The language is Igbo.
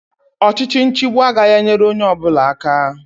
Ọchịchị nchịgbu agaghị enyere onye ọbụla aka